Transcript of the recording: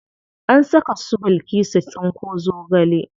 An saka su bilkisu tsinko zogale.